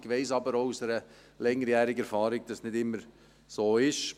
Ich weiss aber auch aus langjähriger Erfahrung, dass das nicht immer so ist.